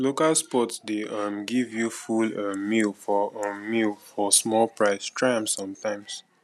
local spots dey um give you full um meal for um meal for small price try am sometimes